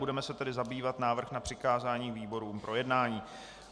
Budeme se tedy zabývat návrhem na přikázání výborům k projednání.